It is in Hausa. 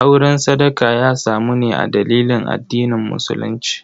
Auren sadaka ya samu ne a dalilin addinin musulunci.